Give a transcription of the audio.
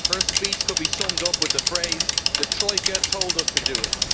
Her speech could be summed up with the phrase the Troika told us to do it.